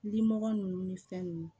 Limɔgɔ ninnu ni fɛn nunnu